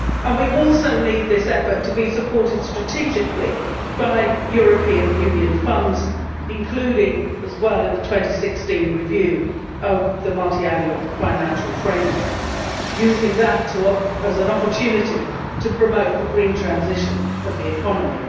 We also need this effort to be supported strategically by European Union funds, including as well the 2016 review of the Multiannual Financial Framework, using that as an opportunity to promote the green transition of the economy.